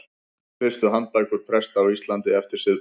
Fyrstu handbækur presta á Íslandi eftir siðbót.